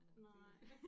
Nej